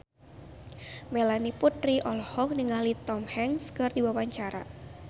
Melanie Putri olohok ningali Tom Hanks keur diwawancara